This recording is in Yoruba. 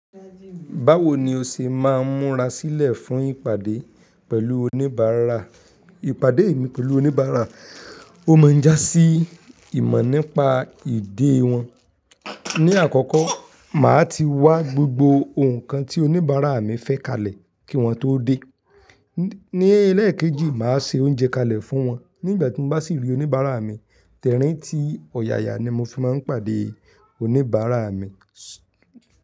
Báwo ni o ṣe máa ń múra sílẹ̀ fún ìpàdé pẹ̀lú oníbàárà? Ìpàdé mi pẹ̀lú oníbàárà, o máa ń jásí ìmọ̀ nípa ìdẹ́ wọn. Ni àkọ́kọ́, màá ti wá gbogbo ǹkan tí oníbàárà mi fẹ́ kalẹ̀ kí wọ́n tó dé. Ni elẹ́ẹ̀kejì, màá se oúnjẹ kalẹ̀ fún wọn. Nígbà tí mo bá sì rí oníbàárà mi, tẹ̀ríntì ọ̀yàyà ni mo fi máa ń pàdé oníbàárà mi.